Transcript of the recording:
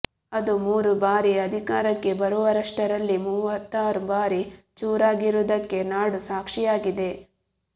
ಅದು ಮೂರು ಬಾರಿ ಅಧಿಕಾರಕ್ಕೆ ಬರುವಷ್ಟರಲ್ಲಿ ಮೂವತ್ತಾರು ಬಾರಿ ಚೂರಾಗಿರುವುದಕ್ಕೆ ನಾಡು ಸಾಕ್ಷಿಯಾಗಿದೆ